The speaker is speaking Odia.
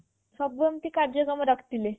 ସବୁ ଏମିତି କାର୍ଯ୍ୟକ୍ରମ ରଖିଥିଲେ